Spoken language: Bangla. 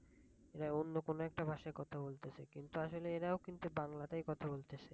এরা অন্য কোন একটা ভাষায় কথা বলতাছে কিন্তু আসলে এরাও কিন্তু বাংলাতে কথা বলতেছে।